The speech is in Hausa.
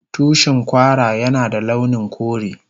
Tushin Kwara Yana da launin kore.